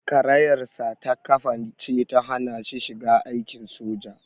Karayarsa ta ƙafa ce ta hana shi shiga aikin soja.